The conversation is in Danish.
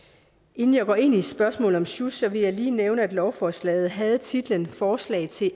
inden jeg går ind i spørgsmålet om sjusk vil jeg lige nævne at lovforslaget havde titlen forslag til